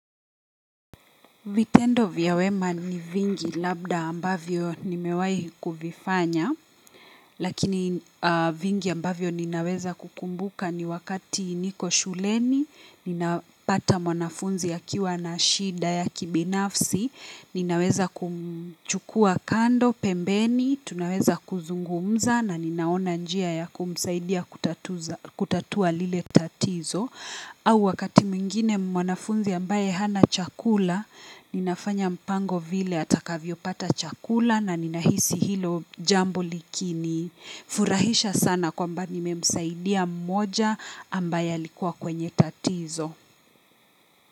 Vitendo vya wema ni vingi labda ambavyo nimewahi kuvifanya, lakini vingi ambavyo ninaweza kukumbuka ni wakati niko shuleni, ninapata mwanafunzi akiwa na shida ya kibinafsi, ninaweza kumchukua kando, pembeni, tunaweza kuzungumza na ninaona njia ya kumsaidia kutatua lile tatizo. Au wakati mwingine mwanafunzi ambaye hana chakula, ninafanya mpango vile atakavyopata chakula na ninahisi hilo jambo likini. Furahisha sana kwamba nimemsaidia mmoja ambaye alikuwa kwenye tatizo.